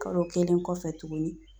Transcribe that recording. Kalo kelen kɔfɛ tuguni